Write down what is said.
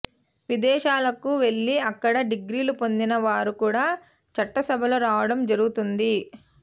విదేశాలకు వెళ్లి అక్కడ డిగ్రీలు పొందిన వారు కూడా చట్టసభల్లో రావడం జరుగుతోంది